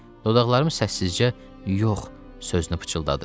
Dodaqlarım səssizcə “yox” sözünü pıçıldadı.